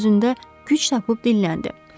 Filip özündə güc tapıb dilləndi.